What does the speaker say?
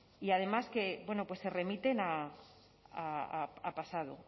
y además que bueno pues se remiten a pasado